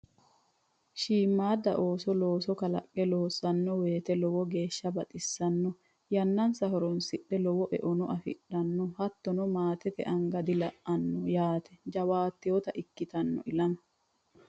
Shiimada ooso looso kalaqe loossano woyte lowo geeshsha baxisano yannansa horonsidhe lowo eono affidhano hattono maatete anga dila"ano yaate jawaattotta ikkittano ilama.